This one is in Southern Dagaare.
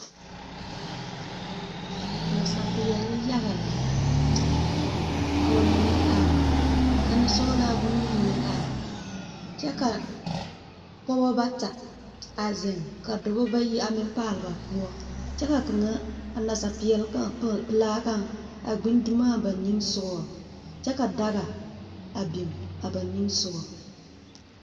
Nasaapeɛle ya lɛ. Ka ba mine are, ka nensɔglaa boŋyeni meŋ are, kyɛ ka pɔgebɔ bata a zeŋ, kyɛ ka dɔbɔ bayi meŋ a paale ba poɔ. Kyɛ ka kaŋ, a nasaapeɛl kaŋa pᾱᾱ de laa kaŋa a gbi dumo ba niŋe sogo, kyɛ daga biŋ a ba niŋ sogo.